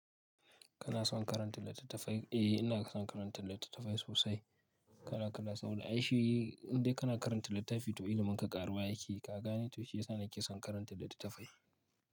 Kana son karanta littattafai? Eh, ina son karanta littattafai sosai. Kala kala saura, ai shi indai kana karanta littafi to ilimin ka ƙaruwa yake. Ka gane to shiyasa nake son karanta littattafai.